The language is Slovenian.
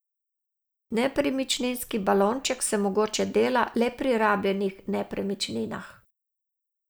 Nepremičninski balonček se mogoče dela le pri rabljenih nepremičninah.